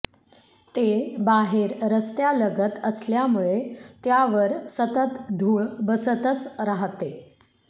ते बाहेर रस्त्यालगत असल्यामुळे त्यावर सतत धूळ बसतच राहते